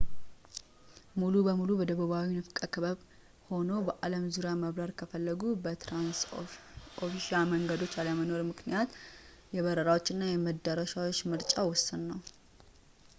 ሙሉ በሙሉ በደቡባዊው ንፍቀ ክበብ ሆኖ በአለም ዙሪያ መብረር ከፈለጉ በትራንስኦሺያን መንገዶች አለመኖር ምክንያት የበረራዎች እና የመድረሻዎች ምርጫ ውስን ነው